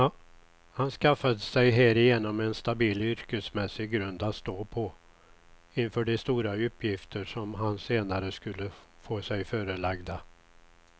Han skaffade sig härigenom en stabil yrkesmässig grund att stå på inför de stora uppgifter som han senare skulle få sig förelagda.